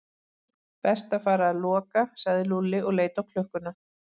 Best að fara að loka sagði Lúlli og leit á klukkuna.